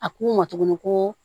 A k'u ma tuguni ko